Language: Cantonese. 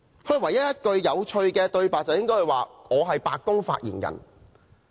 他唯一一句有趣的對白是"我是白宮發言人"。